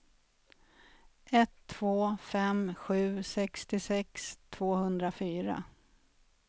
ett två fem sju sextiosex tvåhundrafyra